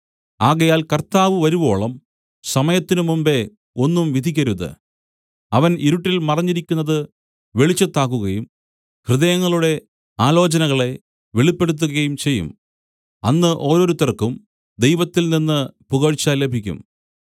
ആകയാൽ കർത്താവ് വരുവോളം സമയത്തിനു മുമ്പെ ഒന്നും വിധിക്കരുത് അവൻ ഇരുട്ടിൽ മറഞ്ഞിരിക്കുന്നത് വെളിച്ചത്താക്കുകയും ഹൃദയങ്ങളുടെ ആലോചനകളെ വെളിപ്പെടുത്തുകയും ചെയ്യും അന്ന് ഓരോരുത്തർക്കും ദൈവത്തിൽനിന്ന് പുകഴ്ച ലഭിക്കും